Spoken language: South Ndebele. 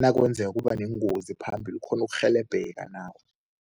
nakwenzeka kuba neengozi phambili, ukghone ukurhelebheka nawe.